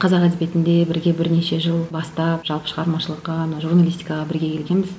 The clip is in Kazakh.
қазақ әдебиетінде бірге бірнеше жыл бастап жалпы шығармашылыққа мына журналистикаға бірге келгенбіз